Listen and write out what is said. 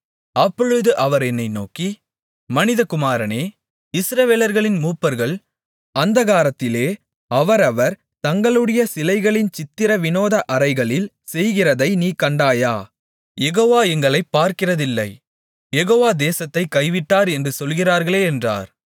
அப்பொழுது அவர் என்னை நோக்கி மனிதகுமாரனே இஸ்ரவேலர்களின் மூப்பர்கள் அந்தகாரத்திலே அவரவர் தங்களுடைய சிலைகளின் சித்திர விநோத அறைகளில் செய்கிறதை நீ கண்டாயா யெகோவா எங்களைப் பார்க்கிறதில்லை யெகோவா தேசத்தைக் கைவிட்டார் என்று சொல்லுகிறார்களே என்றார்